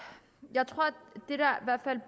der